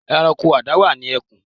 Ẹranko adáwà ni àwọn ẹkùn.